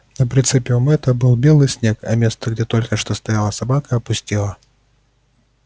на прицеле у мэтта был белый снег а место где только что стояла собака опустело